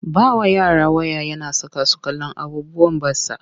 Ba wa yara waya na saka su kallon abubuwan batsa.